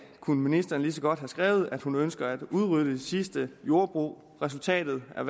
kunne ministeren lige så godt have skrevet at hun ønsker at udrydde de sidste jordbrug resultatet er